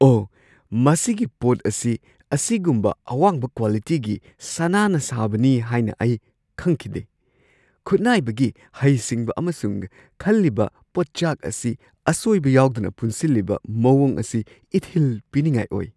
ꯑꯣꯍ, ꯃꯁꯤꯒꯤ ꯄꯣꯠ ꯑꯁꯤ ꯑꯁꯤꯒꯨꯝꯕ ꯑꯋꯥꯡꯕ ꯀ꯭ꯋꯥꯂꯤꯇꯤꯒꯤ ꯁꯅꯥꯅ ꯁꯥꯕꯅꯤ ꯍꯥꯏꯅ ꯑꯩ ꯈꯪꯈꯤꯗꯦ꯫ ꯈꯨꯠꯅꯥꯏꯕꯒꯤ ꯍꯩꯁꯤꯡꯕ ꯑꯃꯁꯨꯡ ꯈꯜꯂꯤꯕ ꯄꯣꯠꯆꯥꯛ ꯑꯁꯤ ꯑꯁꯣꯏꯕ ꯌꯥꯎꯗꯅ ꯄꯨꯟꯁꯤꯜꯂꯤꯕ ꯃꯑꯣꯡ ꯑꯁꯤ ꯏꯊꯤꯜ ꯄꯤꯅꯤꯡꯉꯥꯏ ꯑꯣꯏ꯫